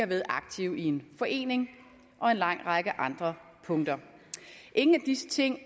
været aktive i en forening og på en lang række andre punkter ingen af disse ting